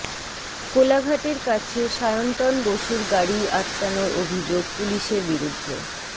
কোলাঘাটের কাছে সায়ন্তন বসুর গাড়ি আটকানোর অভিযোগ পুলিশের বিরুদ্ধে